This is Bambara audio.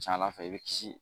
Ca ala fɛ i bɛ kisi